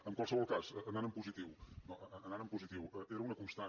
en qualsevol cas anant en positiu anant en positiu era una constant